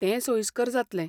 तें सोयिस्कर जातलें.